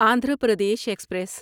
Andhra Pradesh express